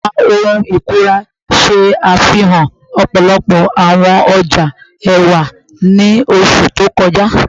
Ẹka ohun ikunra ṣe afihan ọpọlọpọ awọn ọja ẹwa ni oṣu to kọja